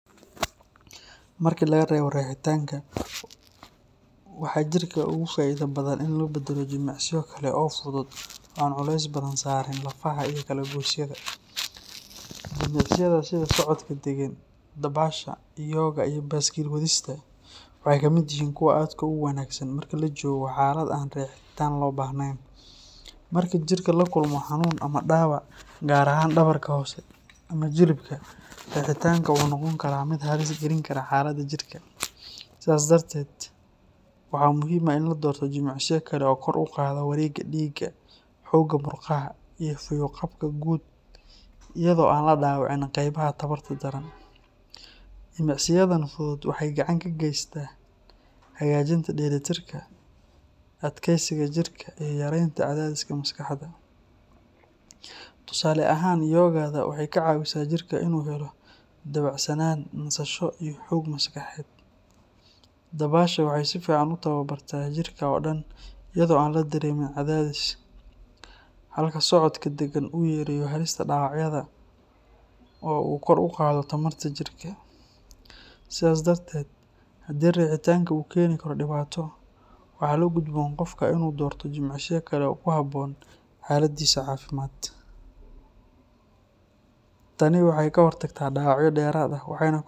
Markii la gareebo rixitanka, waxaa jirka uga faa’iido badan in lagu beddelo jimicsiyo kale oo fudud oo aan culays badan saarin lafaha iyo kala-goysyada. Jimicsiyada sida socodka degan, dabaasha, yoga, iyo baaskiil wadista waxay ka mid yihiin kuwa aadka ugu wanaagsan marka la joogo xaalad aan rixitan loo baahnayn. Marka jirku la kulmo xanuun ama dhaawac, gaar ahaan dhabarka hoose ama jilibka, rixitanku wuxuu noqon karaa mid halis gelin kara xaaladda jirka. Sidaas darteed, waxaa muhiim ah in la doorto jimicsiyo kale oo kor u qaada wareegga dhiigga, xoogga murqaha, iyo fayo-qabka guud iyadoo aan la dhaawacin qeybaha tabarta daran. Jimicsiyadan fudud waxay gacan ka geystaan hagaajinta dheelitirka, adkaysiga jirka, iyo yaraynta cadaadiska maskaxda. Tusaale ahaan, yoga-da waxay ka caawisaa jirka inuu helo dabacsanaan, nasasho, iyo xoog maskaxeed. Dabaasha waxay si fiican u tababartaa jirka oo dhan iyadoo aan la dareemin cadaadis, halka socodka degan uu yareeyo halista dhaawacyada oo uu kor u qaado tamarta jirka. Sidaas darteed, haddii rixitanku uu keeni karo dhibaato, waxaa la gudboon qofka inuu doorto jimicsiyo kale oo ku habboon xaaladdiisa caafimaad. Tani waxay ka hortagtaa dhaawacyo dheeraad ah waxayna.